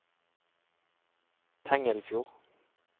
Tengelfjord